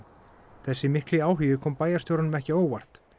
þessi mikli áhugi kom bæjarstjóranum ekki á óvart